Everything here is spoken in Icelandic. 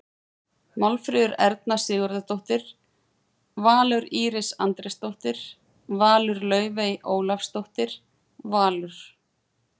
Málfríður Erna Sigurðardóttir- Valur Íris Andrésdóttir- Valur Laufey Ólafsdóttir- Valur